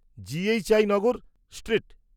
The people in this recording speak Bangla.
G.H.I Nagar, street,